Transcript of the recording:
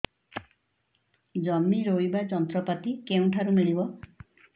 ଜମି ରୋଇବା ଯନ୍ତ୍ରପାତି କେଉଁଠାରୁ ମିଳିବ